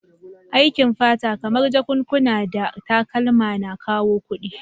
Aikin fata, kamar jakakuna da takalma na kawo kudi